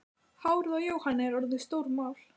Hárið á Jóhanni er orðið stórmál.